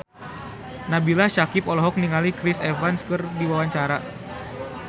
Nabila Syakieb olohok ningali Chris Evans keur diwawancara